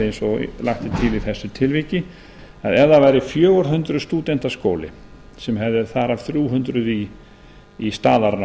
eins og lagt er til í þessu tilviki ef það væri fjögur hundruð stúdenta skóli sem hefði þar af þrjú hundruð í staðarnámi